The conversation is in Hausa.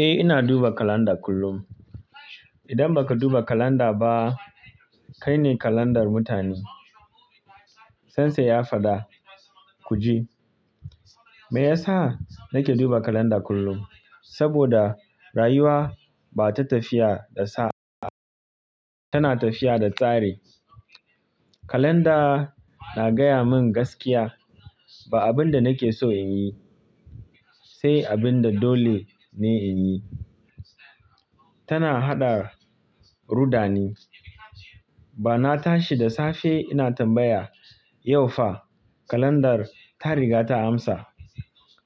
Eh ina duba kalanda kullum. Idan baka duba kalanda ba, kai ne kalandar mutane. Tansa ya fada kuji. Meyasa nake duba kalanda kullum? Saboda rayuwa ba ta tafiya da sa'a. Tana tafiya da tsari. Kalanda na gaya min gaskiya. Ba abin da nake so in yi, sai abin da dole ne in yi. Tana haɗa rudani. Ba na tashi da safe ina tambaya "yau fa kalandar ta riga ta amsa."